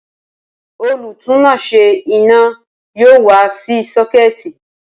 Olùtúnáṣé iná yóò wá ṣe sọ́kẹ̀tì